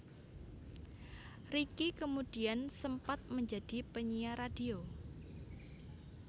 Ricky kemudian sempat menjadi penyiar radio